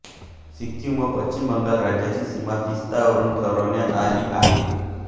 सिक्कीम व पश्चिम बंगाल राज्यांची सीमा तीस्तावरून ठरवण्यात आली आहे